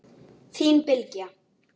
Þín Bylgja.